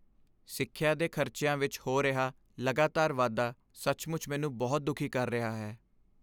ਸਿੱਖਿਆ ਦੇ ਖ਼ਰਚਿਆਂ ਵਿੱਚ ਹੋ ਰਿਹਾ ਲਗਾਤਾਰ ਵਾਧਾ ਸੱਚਮੁੱਚ ਮੈਨੂੰ ਬਹੁਤ ਦੁਖੀ ਕਰ ਰਿਹਾ ਹੈ।